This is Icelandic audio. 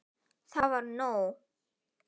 Það var nóg.